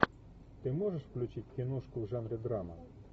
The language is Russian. ты можешь включить киношку в жанре драма